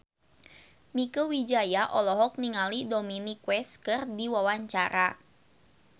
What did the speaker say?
Mieke Wijaya olohok ningali Dominic West keur diwawancara